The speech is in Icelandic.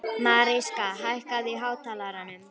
Mariska, hækkaðu í hátalaranum.